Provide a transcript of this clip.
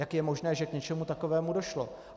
Jak je možné, že k něčemu takovému došlo?